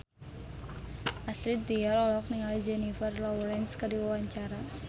Astrid Tiar olohok ningali Jennifer Lawrence keur diwawancara